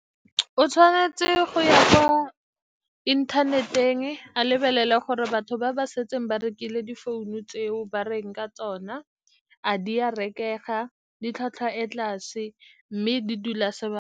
O tshwanetse go ya kwa inthaneteng, a lebelele gore batho ba ba setseng ba rekile difounu tseo ba reng ka tsona, a di a rekega, di tlhwatlhwa e kwa tlase, mme di dula sebaka.